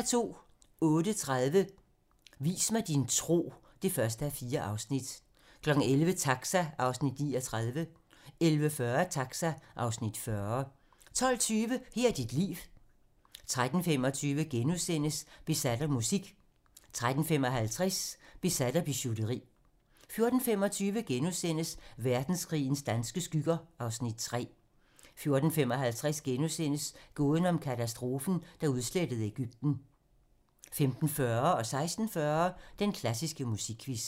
08:30: Vis mig din tro (1:4) 11:00: Taxa (Afs. 39) 11:40: Taxa (Afs. 40) 12:20: Her er dit liv 13:25: Besat af musik * 13:55: Besat af bijouteri 14:25: Verdenskrigens danske skygger (Afs. 3)* 14:55: Gåden om katastrofen, der udslettede Egypten * 15:40: Den klassiske musikquiz 16:40: Den klassiske musikquiz